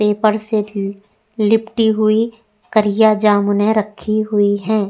Paper से लिपटी हुई करिया जामुने रखी हुई हैं।